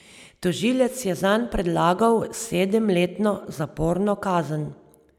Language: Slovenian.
Tožilec je zanj predlagal sedemletno zaporno kazen.